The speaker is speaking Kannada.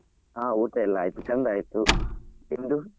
ಆ ಊಟ ಎಲ್ಲಾ ಆಯ್ತು ಚಂದ ಆಯ್ತು ನಿಮ್ದು ?